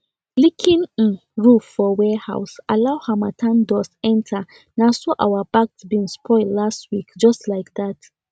leaking um roof for warehouse allow harmattan dust enterna so our bagged beans spoil last week just like that